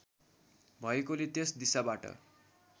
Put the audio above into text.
भएकोले त्यस दिशाबाट